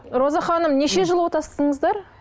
роза ханым неше жыл отастыңыздар